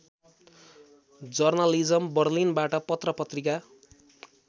journalism बर्लिनबाट पत्रकारिता